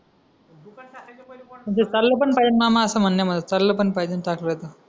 म्हणजे चाललं पण पाहिजे मामा असं म्हण यामागे चाललं पण पाहिजे सासऱ्याच